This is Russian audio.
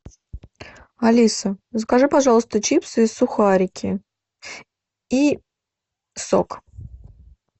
алиса закажи пожалуйста чипсы и сухарики и сок